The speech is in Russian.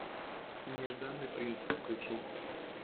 нежданный принц включи